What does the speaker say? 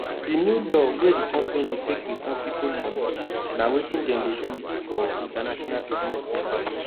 the new law wey the company take return people moneyna wetin dem dey do for international businesses be that